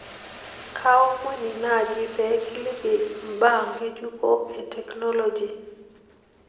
kaaomoni naaji pee kiliki imbaa ng'ejuko ee teknoloji